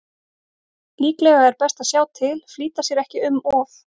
Líklega er best að sjá til, flýta sér ekki um of.